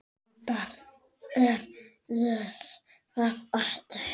Enda er ég það ekki.